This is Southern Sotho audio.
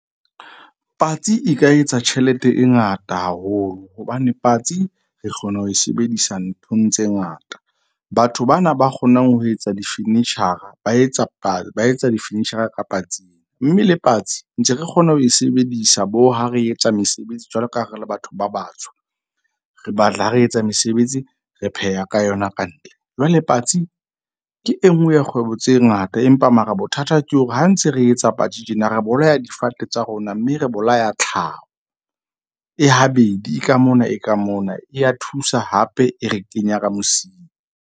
Patsi e ka etsa tjhelete e ngata haholo hobane patsi re kgona ho e sebedisa nthong tse ngata. Batho bana ba kgonang ho etsa di-furniture-a ba etsa ba etsa di-furniture-a ka patsi. Mme le patsi ntse re kgona ho e sebedisa bo ha re etsa mesebetsi jwalo ka ha re le batho ba batsho, re batla ha re etsa mesebetsi, re pheha ka yona kantle. Jwale patsi ke enngwe ya kgwebo tse ngata, empa mara bothata ke hore ha ntse re etsa patsi tjena, re bolaya difate tsa rona. Mme re bolaya tlhaho e habedi ka mona e ka mona e ya thusa hape e re kenya ka mosing.